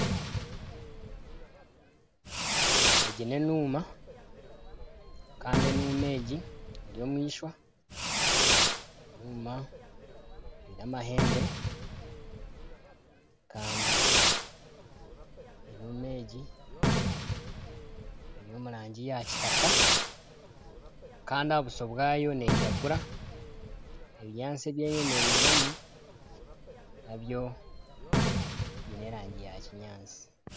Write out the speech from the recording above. Egi n'enuuma kandi enuuma egi eri omu eishwa eine amahembe kandi eri omu rangi ya kitaka kandi aha buso bwayo neyiragura, ebinyaatsi ebi eyeyemereiremu nabyo byine erangi ya kinyaatsi.